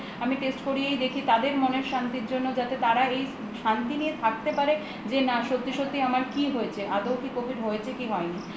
আমি test করিয়েই দেখি তাদের মনের শান্তির জন্য যাতে তারা এই শান্তি নিয়ে থাকতে পারে যে না সত্যি সত্যিই আমার কি হয়েছে আদৌ কি covid হয়েছে কি হয় নি